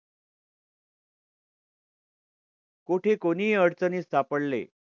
कुठे कोणीही अडचणीस सापडले